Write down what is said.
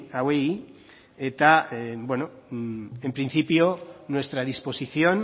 hauei eta beno en principio nuestra disposición